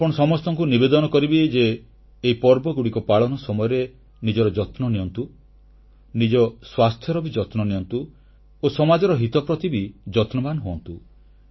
ମୁଁ ଆପଣ ସମସ୍ତଙ୍କୁ ନିବେଦନ କରିବି ଯେ ଏହି ପର୍ବଗୁଡ଼ିକ ପାଳନ ସମୟରେ ନିଜର ଯତ୍ନ ନିଅନ୍ତୁ ନିଜ ସ୍ୱାସ୍ଥ୍ୟର ବି ଯତ୍ନ ନିଅନ୍ତୁ ଓ ସମାଜର ହିତ ପ୍ରତି ବି ଯତ୍ନବାନ ହୁଅନ୍ତୁ